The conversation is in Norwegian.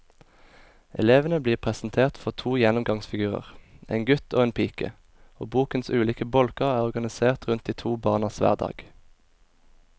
Elevene blir presentert for to gjennomgangsfigurer, en gutt og en pike, og bokens ulike bolker er organisert rundt de to barnas hverdag.